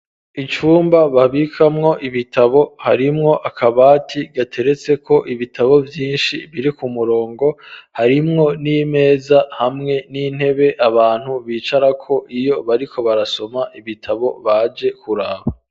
Icumba babikamwo ibitabo harimwo akabati gateretseko ibitabo vyinshi biri ku murongo, harimwo n'imeza hamwe n'intebe abantu bicarako iyo bariko barasoma ibitabo baje kuraba.